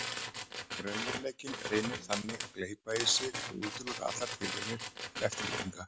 Raunveruleikinn reynir þannig að gleypa í sig og útiloka allar tilraunir til eftirlíkinga.